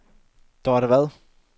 Dorte Vad